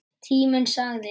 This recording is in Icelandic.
Tíminn sagði: